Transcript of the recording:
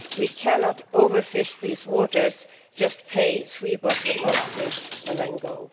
We cannot overfish these waters, just pay, sweep up the last fish and then go.